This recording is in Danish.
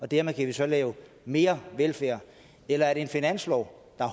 dermed kan lave mere velfærd eller er det en finanslov der